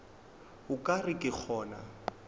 o ka re ke gona